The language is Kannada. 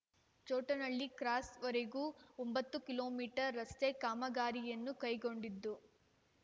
ಚೊಟ್ಟನಹಳ್ಳಿ ಕ್ರಾಸ್‌ವರೆಗೂ ಒಂಬತ್ತು ಕಿಲೋ ಮೀಟರ್ ರಸ್ತೆ ಕಾಮಗಾರಿಯನ್ನು ಕೈಗೊಂಡಿದ್ದು